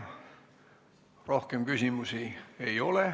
Rohkem küsimusi ei ole.